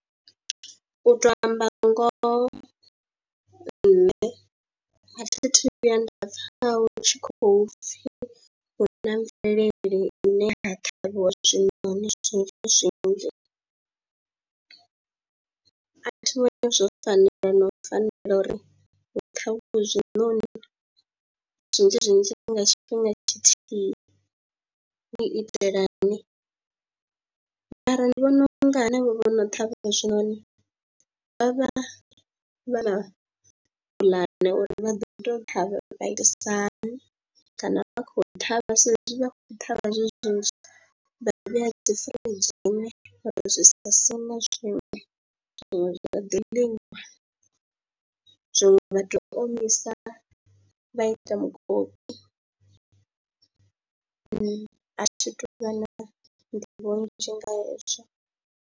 U tou amba ngoho nṋe a thi thu vhuya nda pfha hu tshi kho pfhi hu na mvelele ine ha ṱhavhiwa zwinoni zwi kha zwinzhi, a thi vhoni zwo fanela na u fanela uri hu kha vhu hezwinoni zwinzhi zwinzhi nga tshifhinga tshithihi, hu u itelani. Mara ndi vhona u nga henevho vho no ṱhavha zwinoni vha vha vha na puḽane uri vha ḓo tou ṱhavha vha itisa hani kana vha khou ṱhavha sa ezwi vha khou ṱhavha zwezwo vha vheya dzi firinzhini uri zwi sa sine zwiṅwe, zwinwe zwa ḓi liwa, zwiṅwe vha tou omisa vha ita mukoki, a thi tu vha na nḓivho nnzhi nga hezwo.